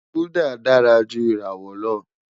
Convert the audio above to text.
Gulder dara ju irawọ lọ